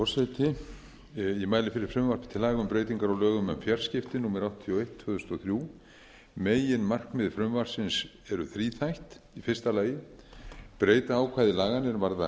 forseti ég mæli fyrir frumvarpi til laga um breytingu á lögum um fjarskipti númer áttatíu og eitt tvö þúsund og þrjú meginmarkmið frumvarpsins eru þríþætt fyrsta að breyta ákvæðum laganna er varða